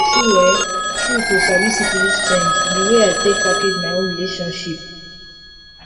true um true to sabi syphilis change the way i take package my own relationship